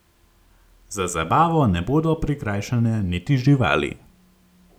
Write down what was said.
Za zabavo ne bodo prikrajšane niti živali.